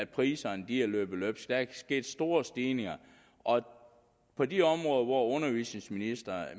priserne er løbet løbsk der er sket store stigninger og på de områder hvor undervisningsministeriet